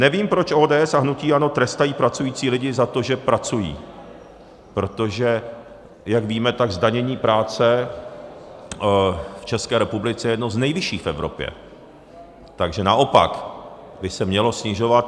Nevím, proč ODS a hnutí ANO trestají pracující lidi za to, že pracují, protože jak víme, tak zdanění práce v České republice je jedno z nejvyšších v Evropě, takže naopak by se mělo snižovat.